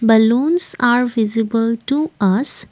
balloons are visible to us.